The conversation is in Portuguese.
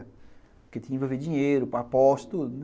Porque tinha que envolver dinheiro, apostas, tudo, né.